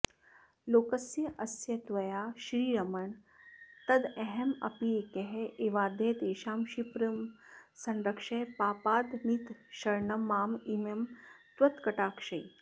लोकस्यास्य त्वया श्रीरमण तदहमप्येक एवाद्य तेषां क्षिप्रं संरक्ष पापादनितरशरणं मामिमं त्वत्कटाक्षैः